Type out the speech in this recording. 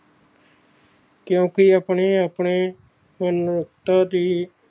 ਕਿਉਕਿ ਆਪਣੇ ਆਪਣੇ ਮਨੁੱਖਤਾ ਦੀ